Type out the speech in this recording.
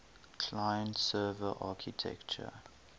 client server architecture